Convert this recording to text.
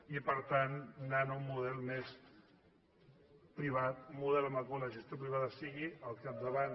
i per tant anant a un model més privat un model en el qual la gestió privada sigui al capdavant